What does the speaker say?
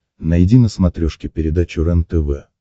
найди на смотрешке передачу рентв